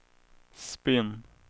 spinn